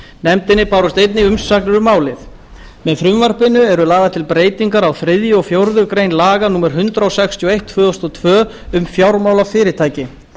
nefndinni bárust einnig umsagnir um málið með frumvarpinu eru lagðar til breytingar á þriðja og fjórðu grein laga númer hundrað sextíu og eitt tvö þúsund og tvö um fjármálafyrirtæki